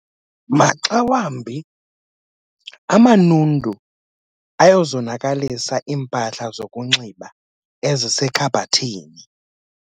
Maxa wambi amanundu ayazonakalisa iimpahla zokunxiba ezisekhabhathini.